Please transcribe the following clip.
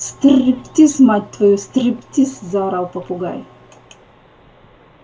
стр-р-риптиз мать твою стр-р-риптиз заорал попугай